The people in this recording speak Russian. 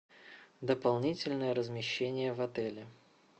дополнительное размещение в отеле